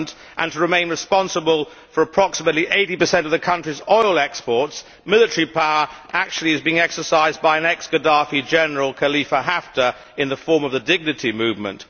and to remain responsible for approximately 80 of the country's oil exports, military power is actually being exercised by an ex Gaddafi general, Khalifa Haftar, in the form of the Dignity' movement.